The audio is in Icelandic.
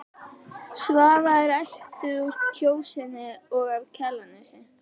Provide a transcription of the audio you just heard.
Svava er ættuð úr Kjósinni og af Kjalarnesi.